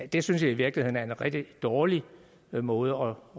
det synes jeg i virkeligheden er en rigtig dårlig måde